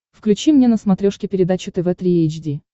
включи мне на смотрешке передачу тв три эйч ди